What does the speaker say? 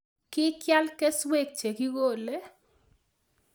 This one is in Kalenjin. Kikial kesueek chekikolei.